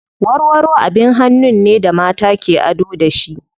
Warwaro abin hannun ne da mata ke ado da shi.